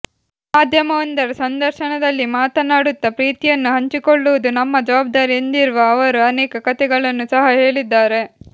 ಮಾಧ್ಯಮವೊಂದರ ಸಂದರ್ಶನದಲ್ಲಿ ಮಾತನಾಡುತ್ತ ಪ್ರೀತಿಯನ್ನು ಹಂಚಿಕೊಳ್ಳುವುದು ನಮ್ಮ ಜವಾಬ್ದಾರಿ ಎಂದಿರುವ ಅವರು ಅನೇಕ ಕಥೆಗಳನ್ನು ಸಹ ಹೇಳಿದ್ದಾರೆ